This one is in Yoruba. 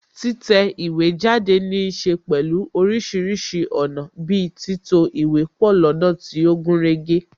Títẹ̀ ìwé jáde níse pẹ̀lú orísìírísìí ọ̀nà bi títò ìwé pọ lọ́nà tí ó gúnrégé